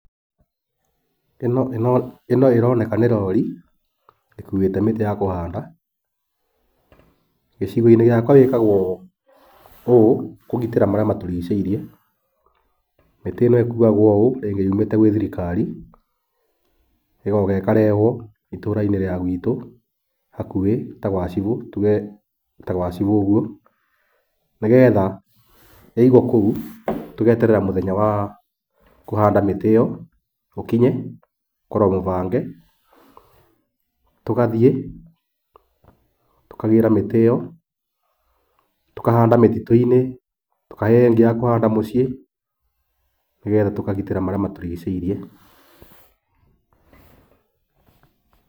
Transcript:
ĩno ĩroneka nĩ rori ĩkuĩte mĩtĩ ya kũhanda. Gĩcigo-inĩ gĩakwa wĩkagwo ũũ kũgitĩra marĩa matũrigicĩirie. Mĩtĩ ĩno ĩkuagwo ũũ rĩngĩ yumĩte kwĩ thirikari, ĩgoka ĩkarehwo itũra-inĩ rĩa gwĩtũ, hakuhĩ tuge ta gwa cibũ ũguo. Nĩgetha ya yaigwo kũu ũguo tũgeterera mũthenya ta wa kũhanda mĩtĩ ĩyo ũkinye, ũkoragwo mũbange, tũgathiĩ tũkagĩra mĩtĩ ĩyo, tũkahanda mĩtitũ-inĩ, tũkaheyo ingĩ ya kũhanda mĩciĩ, nĩgetha tũkagitĩra marĩa matũrigicĩirie.